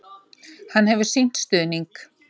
Hann hefur sýnt stuðning.